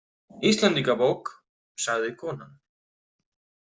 Íslendingabók, sagði konan.